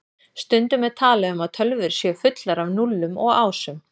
Stundum er talað um að tölvur séu fullar af núllum og ásum.